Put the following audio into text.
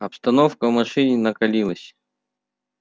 обстановка в машине накалилась